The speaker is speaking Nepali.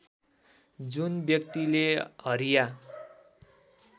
जुन व्यक्तिले हरिया